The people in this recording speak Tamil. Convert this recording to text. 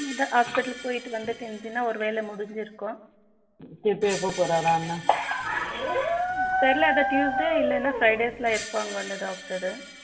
இந்த hospital போயிட்டு வந்துட்டு இருந்துச்சுன்னா ஒரு வேலை முடிந்திருக்கும் இப்ப எப்ப போறாரா அண்ணன் தெரியாத அதுதான் tuesday இல்லைனா fridays இருப்பாங்க